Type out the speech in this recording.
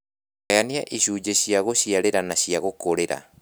Gayania ishunjĩ cia gũshiarĩra na cia gũkũrĩra